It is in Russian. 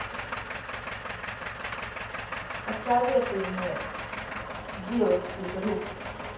посоветуй мне билокси блюз